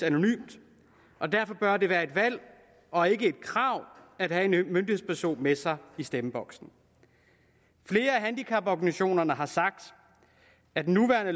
anonymt og derfor bør det være et valg og ikke et krav at have en myndighedsperson med sig i stemmeboksen flere af handicaporganisationerne har sagt at den nuværende